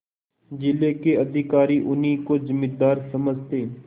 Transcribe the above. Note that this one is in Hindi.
जिले के अधिकारी उन्हीं को जमींदार समझते